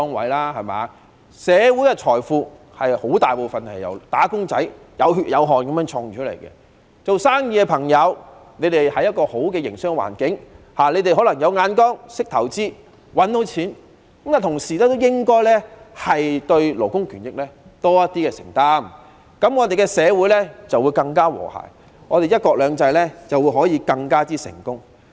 大部分的社會財富均是由"打工仔"有血有汗地賺回來的，做生意的朋友能夠在好的環境營商，可能是因為他們有眼光、懂得投資、懂得賺錢，但他們應該同時對勞工權益有多一點承擔，這樣社會便會更和諧、"一國兩制"便能更成功。